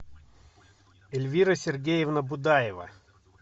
эльвира сергеевна будаева